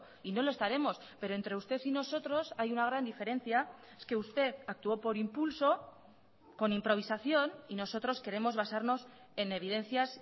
y no lo estaremos pero entre usted y nosotros hay una gran diferencia es que usted actuó por impulso con improvisación y nosotros queremos basarnos en evidencias